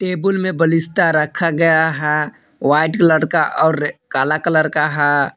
Table में बलिष्ठा रखा गया है व्हाइट कलर और काला कलर का है।